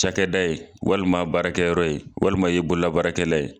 Cakɛda ye walima baarakɛyɔrɔ ye walima i ye bolola baarakɛla ye.